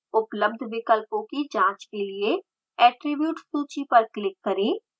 उपलब्ध विकल्पों की जाँच के लिए attribute सूची पर क्लिक करें